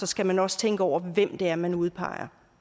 skal man også tænke over hvem det er man udpeger